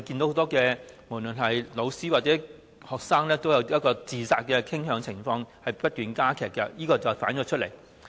很多教師或學生都有自殺傾向，而情況正不斷惡化，反映他們承受的壓力越來越大。